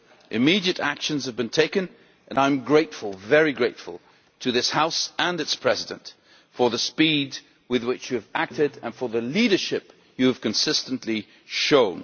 Immediate actions have been taken and I am very grateful to this House and its President for the speed with which you have acted and for the leadership you have consistently shown.